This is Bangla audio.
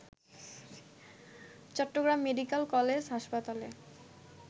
চট্টগ্রাম মেডিকেল কলেজ হাসপাতালে